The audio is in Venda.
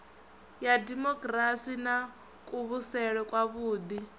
ya demokirasi na kuvhusele kwavhuḓi